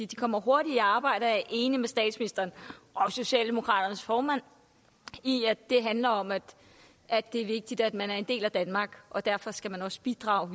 de kommer hurtigt i arbejde jeg er enig med statsministeren og socialdemokraternes formand i at det handler om at at det er vigtigt at man er en del af danmark og derfor skal man også bidrage